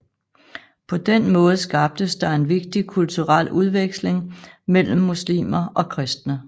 På den måde skabtes der en vigtig kulturel udveksling mellem muslimer og kristne